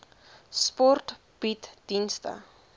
sport bied dienste